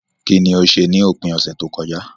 Kíní o se ni òpin ọ̀sẹ̀ tókojá